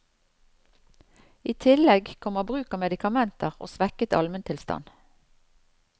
I tillegg kommer bruk av medikamenter og svekket almentilstand.